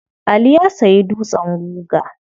Ali ya sayi dutsen guga.